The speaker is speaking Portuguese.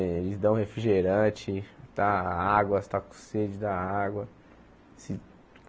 Eles dão refrigerante, dá água, se está com sede, dá água.